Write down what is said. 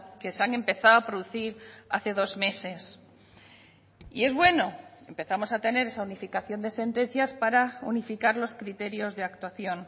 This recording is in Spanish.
que se han empezado a producir hace dos meses y es bueno empezamos a tener esa unificación de sentencias para unificar los criterios de actuación